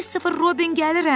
Kristofer Robin gəlirəm!